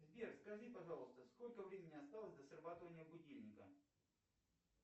сбер скажи пожалуйста сколько времени осталось до срабатывания будильника